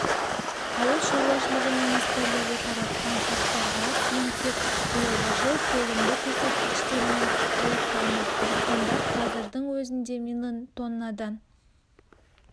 ауыл шаруашылығы министрлігі таратқан ақпарға сүйенсек биылғы жыл толымды көрсеткіштермен аяқталмақ диқандар қазірдің өзінде млн тоннадан